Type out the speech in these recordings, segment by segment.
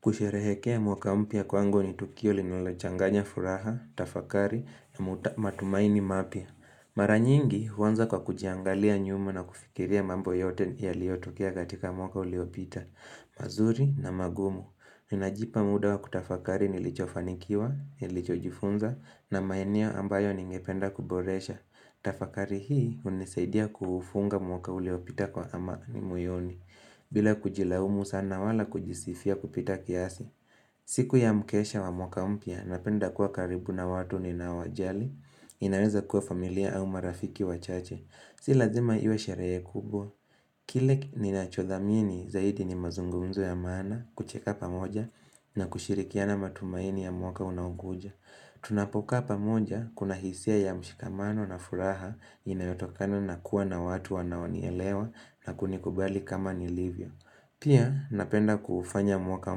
Kusherehekea mwaka mpya kwangu ni Tukio linalochanganya furaha, tafakari na matumaini mapya. Mara nyingi huanza kwa kujiangalia nyuma na kufikiria mambo yote yaliotukia katika mwaka uliopita. Mazuri na magumu. Ninajipa muda wa kutafakari nilichofanikiwa, nilichojifunza na maeneo ambayo ningependa kuboresha. Tafakari hii hunisaidia kuufunga mwaka uliopita kwa amani moyoni. Bila kujilaumu sana wala kujisifia kupita kiasi siku ya mkesha wa mwaka mpya napenda kuwa karibu na watu ninaowajali inaweza kuwa familia au marafiki wachache Si lazima iwe sherehe kubwa Kile ninachodhamini zaidi ni mazungumzo ya maana kucheka pamoja na kushirikiana matumaini ya mwaka unaokuja Tunapokaa pamoja kuna hisia ya mshikamano na furaha inayotokana na kuwa na watu wanaonielewa na kunikubali kama nilivyo Pia napenda kuufanya mwaka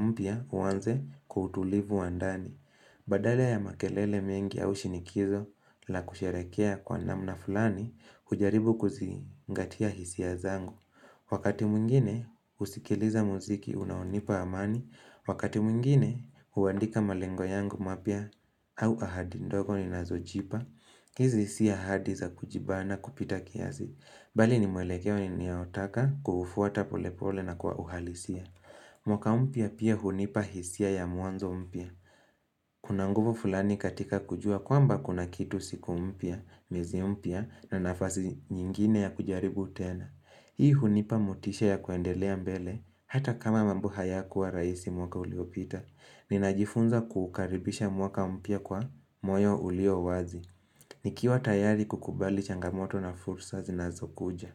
mpya uanze kwa utulivu wa ndani Badala ya makelele mengi au shinikizo la kusherekea kwa namna fulani hujaribu kuzingatia hisia zangu Wakati mwingine husikiliza muziki unaonipa amani Wakati mwingine huwandika malengo yangu mapya au ahadi ndogo ninazojipa hizi si ahadi za kujibana kupita kiazi Bali ni mwelekeo ni ninaotaka kuuufuata polepole na kwa uhalisia. Mwaka mpya pia hunipa hisia ya muanzo mpya. Kuna nguvu fulani katika kujua kwamba kuna kitu siku mpya, miezi mpya na nafasi nyingine ya kujaribu tena. Hii hunipa motisha ya kuendelea mbele hata kama mamb hayakua raisi mwaka uliopita. Ninajifunza kuukaribisha mwaka mpya kwa moyo uliowazi. Nikiwa tayari kukubali changamoto na fursa zinazokuja.